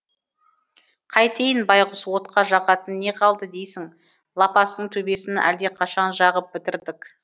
қайтейін байғұс отқа жағатын не қалды дейсің лапастың төбесін әлдеқашан жағып бітірдік